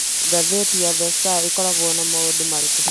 Ngathĩti ya The Star ĩkoragwo na maũndũ marĩkũ